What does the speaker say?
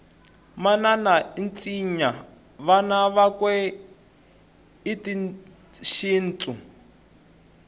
manana itsinya vana vakwe hhitashintu